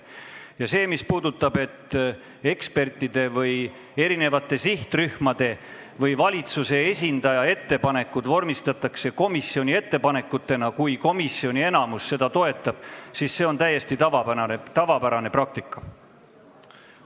Ja see, et ekspertide või eri sihtrühmade või valitsuse esindaja ettepanekud vormistatakse komisjoni ettepanekutena, kui komisjoni enamus seda toetab, on täiesti tavapärane praktika.